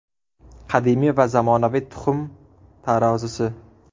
Qadimiy va zamonaviy tuxum tarozisi.